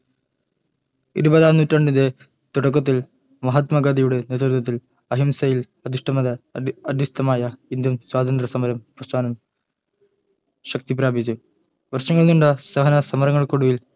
ഇരുപതാം നൂറ്റാണ്ടിൻ്റെ തുടക്കത്തിൽ മഹാത്മാ ഗാന്ധിയുടെ നേതൃത്വത്തിൽ അഹിംസയിൽ അധിഷ്ഠിതമായ ഇന്ത്യൻ സ്വതന്ത്ര സമര പ്രസ്ഥാനം ശക്തി പ്രാപിച്ചു വർഷങ്ങൾ നീണ്ട സഹന സമരങ്ങൾക്കൊടുവിൽ